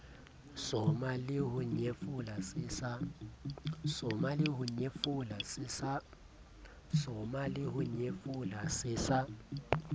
soma leho nyefola se sa